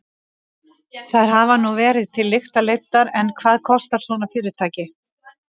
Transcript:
Þær hafa nú verið til lykta leiddar en hvað kostar svona fyrirtæki?